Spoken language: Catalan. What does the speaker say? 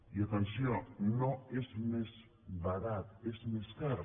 i atenció no és més barat és més car